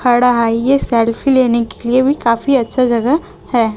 खड़ा है ये सेल्फी लेने के लिए भी काफी अच्छा जगह है।